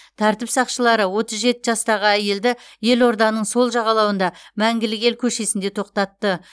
тәртіп сақшылары отыз жеті жастағы әйелді елорданың сол жағалауында мәңгілік ел көшесінде тоқтатты